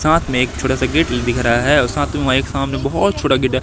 साथ में एक छोटा सा गेट दिख रा है और साथ में वहां एक सामने बहोत छोटा गेट --